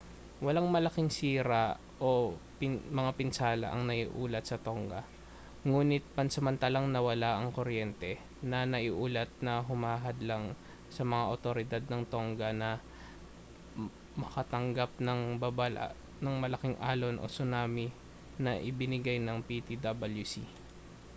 walang malaking sira o mga pinsala ang naiulat sa tonga ngunit pansamantalang nawala ang kuryente na naiulat na humadlang sa mga awtoridad ng tongga na makatanggap ng babala ng malaking alon o tsunami na ibinibigay ng ptwc